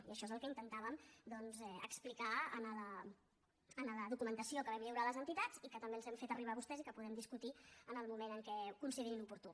i això és el que intentàvem doncs explicar en la documentació que vam lliurar a les entitats i que també els hem fet arribar a vostès i que podem discutir en el moment en què ho considerin oportú